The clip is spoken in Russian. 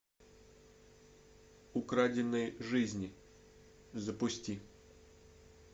украденные жизни запусти